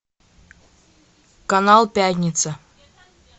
канал пятница